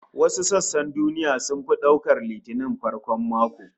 Wasu sassan duniya sun fi daukar Litinin farkon mako